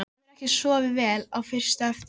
Þú hefur ekki sofið vel fyrst á eftir?